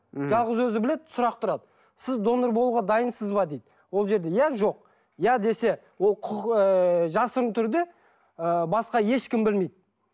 мхм жалғыз өзі біледі сұрақ тұрады сіз донор болуға дайынсыз ба дейді ол жерде иә жоқ иә десе ол құқық ыыы жасырын түрде ы басқа ешкім білмейді